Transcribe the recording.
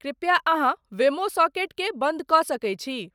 कृपया अहाँवेमो सॉकेट के बंद क सके छी